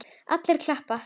Allir klappa.